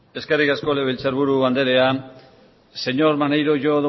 eskerrik asko legebiltzar buru andrea señor maneiro yo